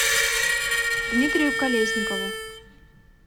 дмитрию колесникову